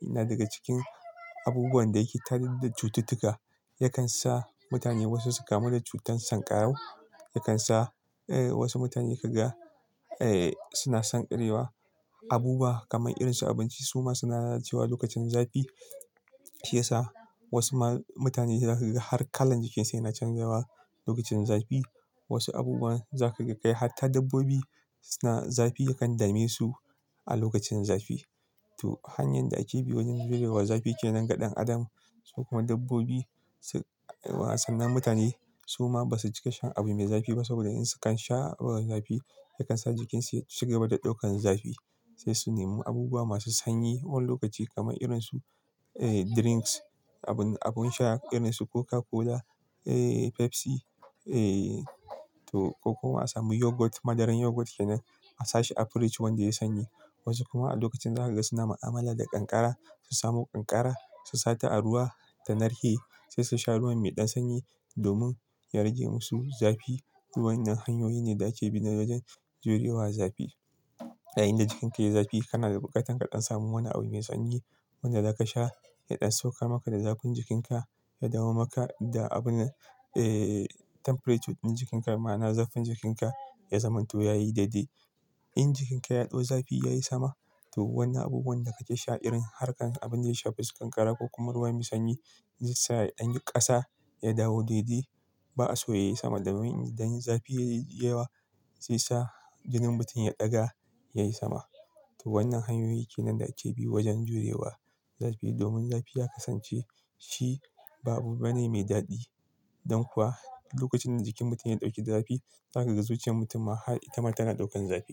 yana daga cikin abubuwan da yake tada cututtuka. Ya kan sa mutane wasu su kamu da cutar sankarau. Ya kan sa, wasu mutane ka ga suna sanƙarewa. Abubuwa kamar irin su abinci su ma suna lalacewa lokacin zafi. Shi ya sa wasu ma mutane za ka ga har kalan jikin su yana canjawa lokacin zafi. Wasu abubuwan za ka ga kai hatta dabbobi zafi ya kan dame su a lokacin zafi. To hanyar da ake bi wajen jurewa zafi kenan ga ɗan adam. Sai kuma dabbob sannan mutane su ma basu cika shan abu mai zafi ba saboda in sun sha ruwan zafi ya kan sa jikin su ya ci gaba da ɗaukan zafi. Sai su nemi abubuwa masu sanyi wani lokaci kamar irin su, drinks abun sha irin su Coca-Cola, Pepsi, ko kuma a samu yogurt. Madaran yogurt kenan a sa shi a fridge wanda yayi sanyi. Wasu kuma a lokacin za ka ga suna mu'amala da kankara su samo kankara su sa ta a ruwa ta narke sai su sha ruwan mai ɗan sanyi domin ya rage musu zafi. To wannan hanyoyi ne da ake bi wajen jure wa zafi. A yayin da jikinka yayi zafi kana da buƙatar ka ɗan samu wani abu mai sanyi wanda zaka sha ya ɗan saukar maka da zafin jikin ka ya dawo maka da temperature ɗin jikinka ma'ana zafin jikinka ya zamanto yayi daidai. In jikinka ya ɗau zafi yayi sama to wannan abubuwan da kake sha irin harkan abin da ya shafa su kankara ko kuma ruwa mai sanyi zai sa ɗan ƙasa ya dawo daidai ba'a so yayi sama domin idan zafi yayi yawa zai sa jinin mutum ya ɗaga yayi sama. To wannan hanyoyi kenan da ake bi wajen jure wa zafi. Domin zafi ya kasance shi ba abu bane mai daɗi. Don kuwa lokacin da jikin mutum ya ɗauki zafi za kaga zuciyar mutum ma har ita ma tana ɗaukan zafi.